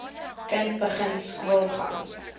kind begin skoolgaan